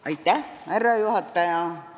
Austatud härra juhataja!